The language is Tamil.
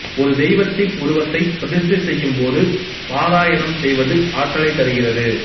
ஒரு தெய்வத்தின் உருவத்தை பிரதிஷ்டை செய்யும் போது பாராயணம் செய்வது ஆற்றலைத் தருகிறது